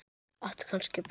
Áttu kannski brauð?